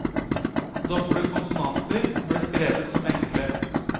Doble konsonanter ble skrevet som enkle.